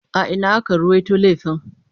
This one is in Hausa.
A ina aka ruwaito laifin?